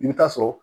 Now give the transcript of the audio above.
I bɛ taa sɔrɔ